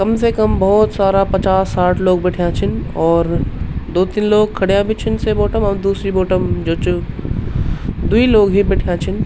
कम से कम भौत सारा पचास साठ लोग बैठ्याँ छिन और दो तिन लोग खड़ियाँ भी छिन से बोट म और दूसरी बोट म जो च द्वि लोग ही बैठ्याँ छिन।